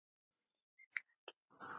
Líka til að gefa.